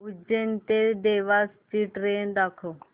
उज्जैन ते देवास ची ट्रेन दाखव